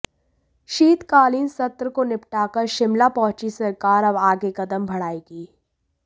शीतकालीन सत्र को निपटाकर शिमला पहुंची सरकार अब आगे कदम बढ़ाएगी